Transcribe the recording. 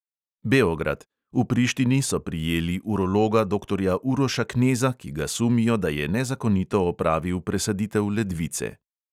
Beograd: v prištini so prijeli urologa doktorja uroša kneza, ki ga sumijo, da je nezakonito opravil presaditev ledvice.